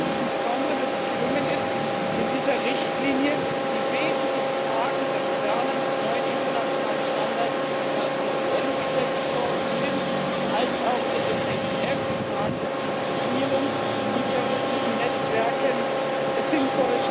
Deshalb freue ich mich besonders, dass es gelungen ist, in dieser Richtlinie die wesentlichen Fragen der modernen und neuen internationalen Standards, die vonseiten der UN gesetzt worden sind, als auch der FATF in Fragen der Finanzierung von terroristischen Netzwerken sinnvoll